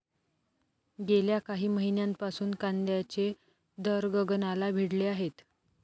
गेल्या काही महिन्यांपासून कांद्याचे दर गगनाला भिडले आहेत.